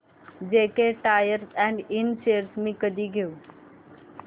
JK tyre and Ind shares मी कधी घेऊ